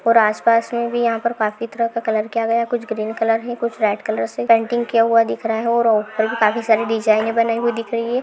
पर आस पास में भी यहां पर काफी तरह का कलर किया गया है कुछ ग्रीन कलर है कुछ रेड्स कलर है पेंटिंग किया हुआ दिख रहा है और ऊपर भी काफी सारी डिज़ाइन बनाई हुई दिख रही है।